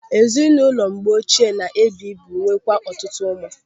Ezinụlọ mgbe oche na-ebu ibu nwee kwa ọtụtụ ụmụ.